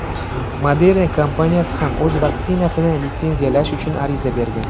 Moderna kompaniyasi ham o‘z vaksinasini litsenziyalash uchun ariza bergan.